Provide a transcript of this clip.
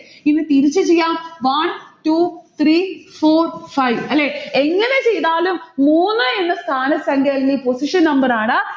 ഇനി തിരിച്ചു ചെയ്യാം. one two three four five അല്ലെ? എങ്ങനെ ചെയ്താലും മൂന്ന് എന്ന സ്ഥാനസംഘ്യ എന്ന ഈ position number ആണ്